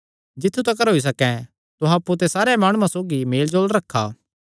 जित्थु तिकर होई सकैं तुहां अप्पु ते सारेयां माणुआं सौगी मेलजोल रखा